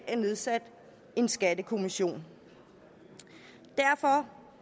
er nedsat en skattekommission derfor